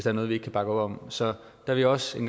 er noget vi ikke kan bakke op om så der vil også en